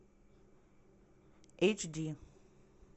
эйч ди